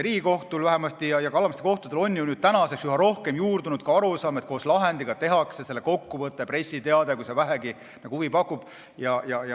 Riigikohtus ja ka alama astme kohtutes on ju üha rohkem juurdunud arusaam, et koos lahendiga tehakse selle kokkuvõte, pressiteade, kui teema vähegi huvi pakub.